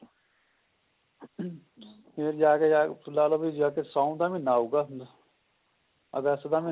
ਫੇਰ ਜਾਕੇ ਲਾਲੋ ਫੇਰ ਜਾਕੇ ਤੁਸੀਂ ਲਾਲੋ ਸ਼ੋਣ ਦਾ ਮਹੀਨਾ ਆਊਗਾ ਅਗਸਤ ਦਾ ਮਹੀਨਾ